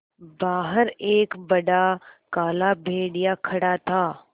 बाहर एक बड़ा काला भेड़िया खड़ा था